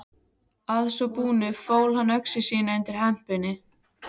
Að svo búnu fól hann öxi sína undir hempunni.